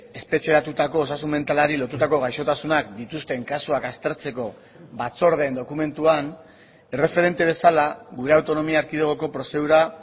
espetxeratutako osasun mentalari lotutako gaixotasunak dituzten kasuak aztertzeko batzordeen dokumentuan erreferente bezala gure autonomia erkidegoko prozedura